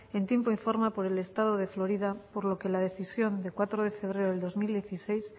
en tiempo informa por el estado de florida por lo que la decisión de cuatro de febrero del dos mil dieciséis